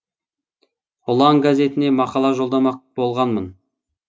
ұлан газетіне мақала жолдамақ болғанмын